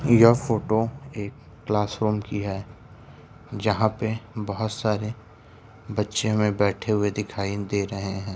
यह फ़ोटो एक class room की है जहाँ पे बोहोत सारे बच्चे हमें बैठे हुए दिखाई दे रहे हैं।